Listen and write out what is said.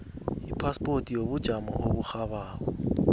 ipaspoti yobujamo oburhabako